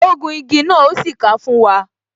Ó gun igi náà, o sì ka fún wa